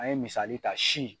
An ye misali ta si.